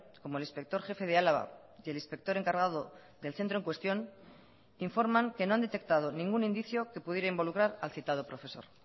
como el inspector jefe de álava y el inspector encargado del centro en cuestión informan que no han detectado ningún indicio que pudiera involucrar al citado profesor